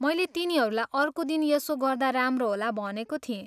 मैले तिनीहरूलाई अर्को दिन यसो गर्दा राम्रो होला भनेको थिएँ।